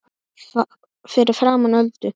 Fyrir framan Öldu.